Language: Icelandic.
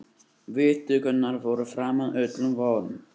Viðtökurnar voru framar öllum vonum